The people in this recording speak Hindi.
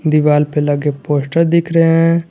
दीवाल पे लगे पोस्टर दिख रहे हैं।